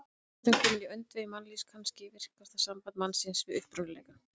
Athöfnin komin í öndvegi mannlífs, kannski virkasta samband mannsins við upprunaleikann.